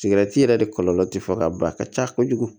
Sigɛrɛti yɛrɛ de kɔlɔlɔ ti fo ka ban a ka ca kojugu